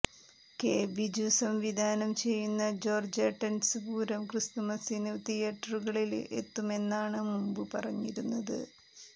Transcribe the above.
K Biju സംവിധാനം ചെയ്യുന്ന ജോര്ജേട്ടന്സ് പൂരം ക്രിസ്തുമസിന് തിയേറ്ററുകളില് എത്തുമെന്നാണ് മുമ്പ് പറഞ്ഞിരുന്നത്